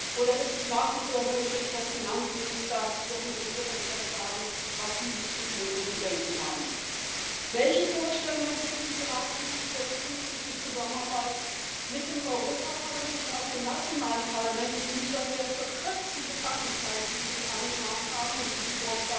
Oder ist es nach wie vor möglich, dass Finanzminister ihrem Regierungschef sagen, was diese zu tun und zu denken haben? Welche Vorstellungen entwickelten die Ratsmitglieder, wie künftig die Zusammenarbeit mit dem Europaparlament und auch den nationalen Parlamenten in dieser sehr verkürzten Debattenzeit, die sie angemahnt haben und die sie